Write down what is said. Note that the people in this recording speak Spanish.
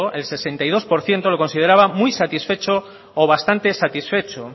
el sesenta y dos por ciento lo consideraba muy satisfecho o bastante satisfechos